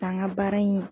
K'an ka baara in